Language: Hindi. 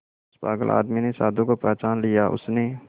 उस पागल आदमी ने साधु को पहचान लिया उसने